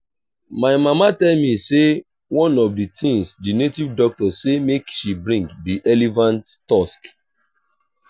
my mama tell me say one of the things the native doctor say make she bring be elephant tusk